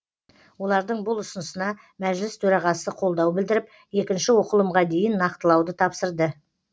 олардың бұл ұсынысына мәжіліс төрағасы қолдау білдіріп екінші оқылымға дейін нақтылауды тапсырды